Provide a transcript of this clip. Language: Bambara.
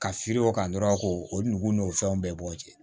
Ka feer'o kan dɔrɔn k'o o nugu n'o fɛnw bɛɛ bɔ o cɛ